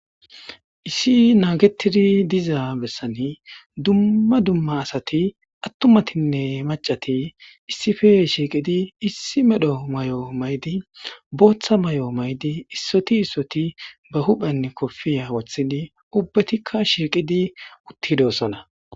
Issi naagetidi diza bessani dumma dumma asati attumatinne macati issife shiiqidi issi medho may7o maydi booththa may7o maydi issoti issoti ba huphenn kopfiya wothidi ubbetikka shiiqidi uttidossana.